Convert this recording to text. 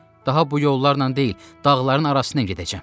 Daha bu yollarla deyil, dağların arasına gedəcəm.